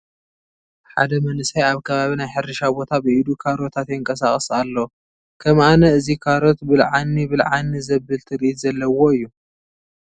ሓደ መንእሰይ ኣብ ከባቢ ናይ ሕርሻ ቦታ ብኢዱ ካሮታት የንቀሳቕስ ኣሎ፡፡ ከም ኣነ እዚ ካሮት ብልዓኒ ብልዓኒ ዘብል ትርኢት ዘለዎ እዩ፡፡